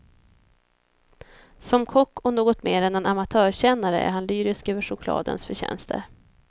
Som kock och något mer än en amatörkännare är han lyrisk över chokladens förtjänster.